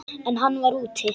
En hann var úti.